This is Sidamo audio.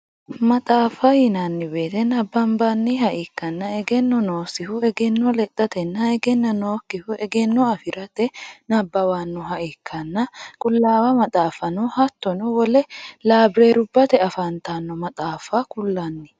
maxaafa yinanni woyiite nabbabbanniha ikkanna egenno noosihu egenno ledhatenna egenno nookihu egenno afirate nabbawannoha ikkanna qulaawa maxaafano hattono wole labireerubbate afantanno maxaafa kullanni